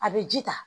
A bɛ ji ta